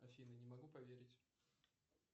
афина не могу поверить